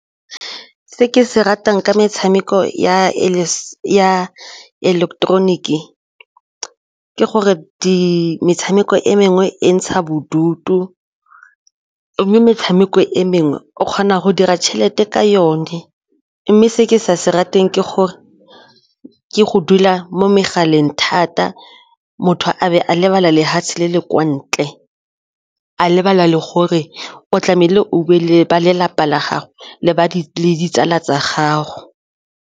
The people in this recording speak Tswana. Se ke se ratang ke metshameko ya ileketeroniki ke gore metshameko e mengwe e ntsha bodutu metshameko e mengwe o kgona go dira tšhelete ka yone mme se ke sa se rateng ke gore ke go dula mo megaleng thata, motho a be a lebala le le le kwa ntle a lebala le gore o tlamehile o be le ba lelapa la gago le ditsala tsa gago.